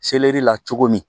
la cogo min